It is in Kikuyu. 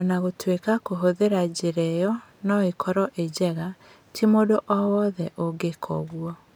O na gũtuĩka kũhũthĩra njĩra ĩyo no ĩkorwo ĩnjega, ti mũndũ o wothe ũngĩka ũguo.